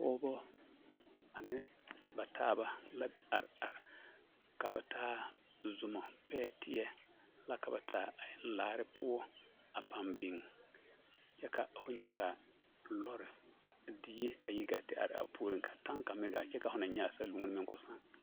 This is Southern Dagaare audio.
Pɔgebɔ ane ba taaba la are are ka ba taa zomɔ, pɛɛteɛ la ka ba taa a eŋ laare poɔ a pãã biŋ kyɛ ka ho nyɛ ka lɔre, die a yi gaa te are a puoriŋ ka taŋka meŋ gaa te are kyɛ ka ho naŋ nyɛ a saluoni meŋ k'o sãã.